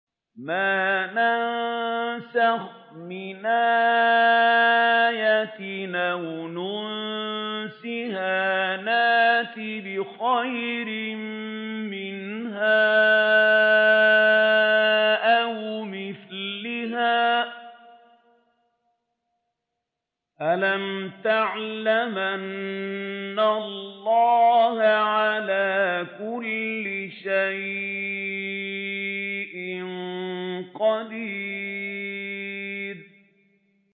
۞ مَا نَنسَخْ مِنْ آيَةٍ أَوْ نُنسِهَا نَأْتِ بِخَيْرٍ مِّنْهَا أَوْ مِثْلِهَا ۗ أَلَمْ تَعْلَمْ أَنَّ اللَّهَ عَلَىٰ كُلِّ شَيْءٍ قَدِيرٌ